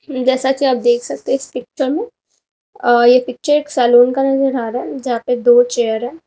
जैसा कि आप देख सकते है इस पिक्चर में अ ये पिक्चर एक सैलून का नजर आ रहा है जहाँ पे दो चेयर हैं।